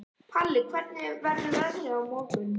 Palli, hvernig verður veðrið á morgun?